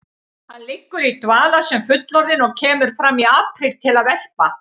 Hann liggur í dvala sem fullorðinn og kemur fram í apríl til að verpa.